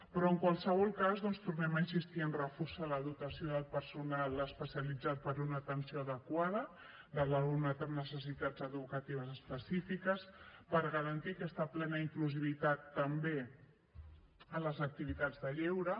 però en qualsevol cas doncs tornem a insistir en reforçar la dotació del personal especialitzat per a una atenció adequada de l’alumnat amb necessitats educatives específiques per garantir aquesta plena inclusivitat també a les activitats de lleure